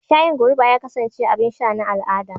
Shayin goruba ya kasance abin sha na al'ada a da.